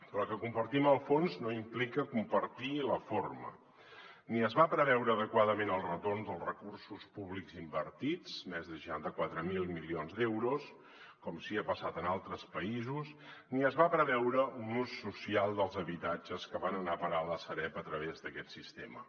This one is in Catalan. però que compartim el fons no implica compartir la forma ni es va preveure adequadament el retorn dels recursos públics invertits més de seixanta quatre mil milions euros com sí que ha passat en altres països ni es va preveure un ús social dels habitatges que van anar a parar a la sareb a través d’aquest sistema